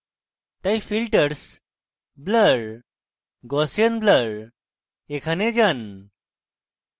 তাই filters blur gaussian blur এ যান